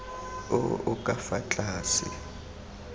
o o ka fa tlase